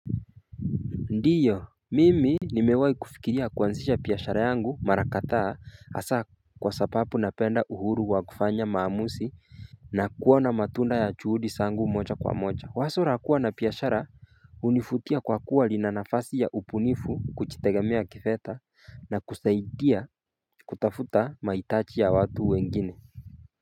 Ndiyo mimi Nimewai kufikiria kuanzisha piyashara yangu mara kathaa hasa kwa sapapu napenda uhuru wa kufanya maamusi na kuona matunda ya chuhudi sangu mocha kwa mocha Wasura kuwa na piyashara unifutia kwa kuwa linanafasi ya upunifu kuchitegamea kifetha na kusaidia kutafuta maitachi ya watu wengine.